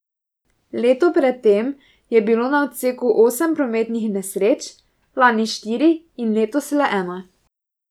Leto pred tem je bilo na odseku osem prometnih nesreč, lani štiri in letos le ena.